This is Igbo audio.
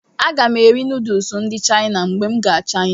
Aga m eri nuduls ndị Chaina ma m gaa Chaina.